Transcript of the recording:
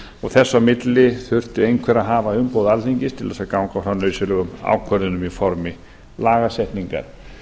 og þess á milli þurfti einhver að hafa umboð alþingis til að ganga frá nauðsynlegum ákvörðunum í formi lagasetningar